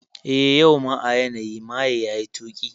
Eh, yau ma a yanayi maye yayi tuki